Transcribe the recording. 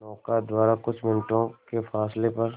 नौका द्वारा कुछ मिनटों के फासले पर